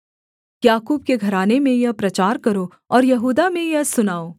याकूब के घराने में यह प्रचार करो और यहूदा में यह सुनाओ